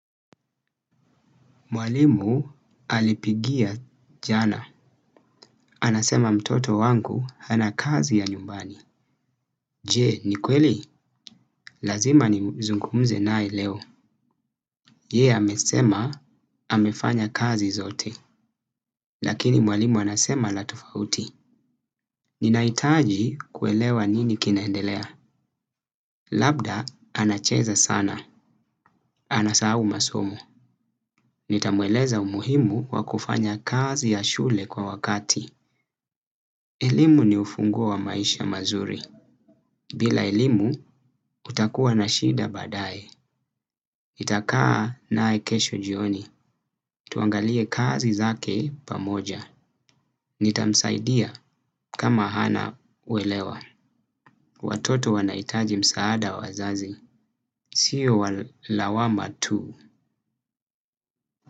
Mwalimu alipigia jana. Anasema mtoto wangu hana kazi ya nyumbani. Je, ni kweli? Lazima nizungumze naye leo. Je, amesema, amefanya kazi zote. Lakini mwalimu anasema la tofauti. Ninahitaji kuelewa nini kinaendelea. Labda, anacheza sana. Anasahau masomo. Nitamueleza umuhimu kwa kufanya kazi ya shule kwa wakati. Elimu ni ufunguo wa maisha mazuri. Bila elimu utakuwa na shida baadaye. Nitakaa naye kesho jioni. Tuangalie kazi zake pamoja. Nitamsaidia kama hana uelewa. Watoto wanahitaji msaada wa wazazi. Sio wa lawama tu.